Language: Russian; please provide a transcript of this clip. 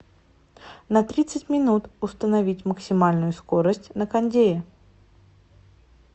на тридцать минут установить максимальную скорость на кондее